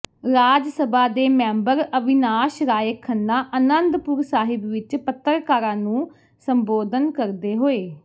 ਰਾਜ ਸਭਾ ਦੇ ਮੈਂਬਰ ਅਵਿਨਾਸ਼ ਰਾਏ ਖੰਨਾ ਆਨੰਦਪੁਰ ਸਾਹਿਬ ਵਿਚ ਪੱਤਰਕਾਰਾਂ ਨੂੰ ਸੰਬੋਧਨ ਕਰਦੇ ਹੋਏ